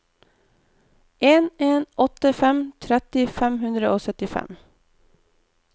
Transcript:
en en åtte fem tretti fem hundre og syttifem